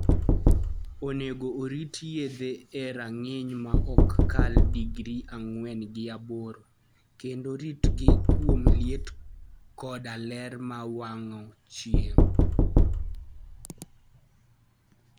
Onego orit yedhe e rang'iny ma ok kal digri ang`wen gi aboro , kendo ritgi kuom liet koda ler mar wang ' chieng '